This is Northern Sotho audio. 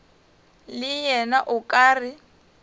le yena o ka re